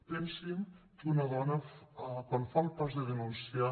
pensin que una dona quan fa el pas de denunciar